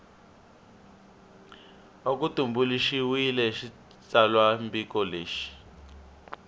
va ku tumbuluxiwile xitsalwambiko lexi